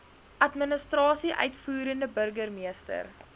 administrasie uitvoerende burgermeester